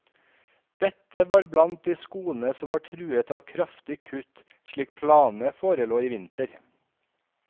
Dette var blant de skolene som var truet av kraftige kutt slik planene forelå i vinter.